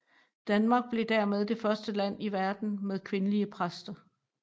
Danmark blev dermed det første land i verden med kvindelige præster